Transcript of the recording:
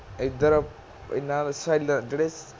ਐਧਰ ਐਨਾਂ ਦਾ ਜਿਹੜੇ